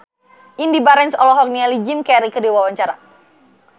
Indy Barens olohok ningali Jim Carey keur diwawancara